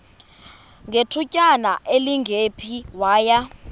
ngethutyana elingephi waya